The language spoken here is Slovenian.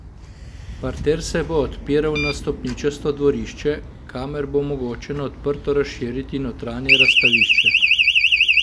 Parter se bo odpiral na stopničasto dvorišče, kamor bo mogoče na odprto razširiti notranje razstavišče.